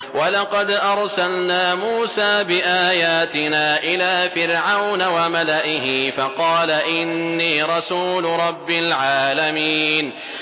وَلَقَدْ أَرْسَلْنَا مُوسَىٰ بِآيَاتِنَا إِلَىٰ فِرْعَوْنَ وَمَلَئِهِ فَقَالَ إِنِّي رَسُولُ رَبِّ الْعَالَمِينَ